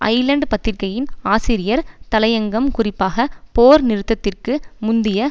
Island பத்திரிகையின் ஆசிரியர் தலையங்கம் குறிப்பாக போர் நிறுத்தத்திற்கு முந்திய